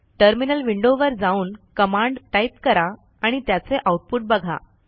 terminal window वर जाऊन command type करा आणि त्याचे आऊटपुट बघा